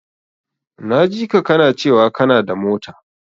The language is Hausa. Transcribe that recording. Na jika kana cewa kanada mota.